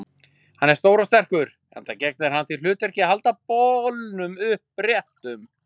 Hann er stór og sterkur, enda gegnir hann því hlutverki að halda bolnum uppréttum.